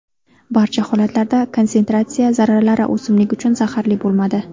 Barcha holatlarda konsentratsiya zarralari o‘simlik uchun zaxarli bo‘lmadi.